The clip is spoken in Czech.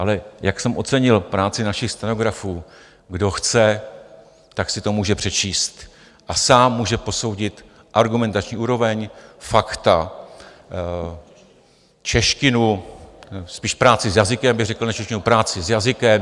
Ale jak jsem ocenil práci našich stenografů - kdo chce, tak si to může přečíst a sám může posoudit argumentační úroveň, fakta, češtinu, spíš práci s jazykem bych řekl než češtinu, práci s jazykem.